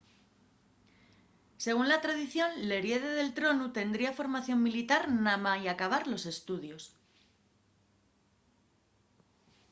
según la tradición l'heriede del tronu tendría formación militar namái acabar los estudios